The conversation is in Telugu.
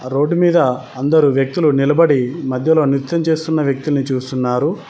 రోడ్డు మీద అందరూ వ్యక్తులు నిలబడి మధ్యలో నృత్యం చేస్తున్న వ్యక్తిని చూస్తున్నారు.